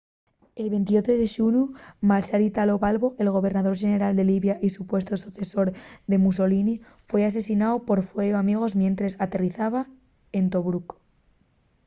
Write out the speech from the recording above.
el 28 de xunu marshal italo balbo el gobernador xeneral de libia y supuestu socesor de mussolini foi asesináu por fueu amigu mientres aterrizaba en tobruc